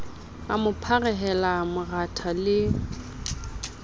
a mo pharehela moratha le